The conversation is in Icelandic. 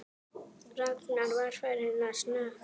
Ragnar var farinn að snökta.